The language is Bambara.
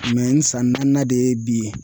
n san naaninan de ye bi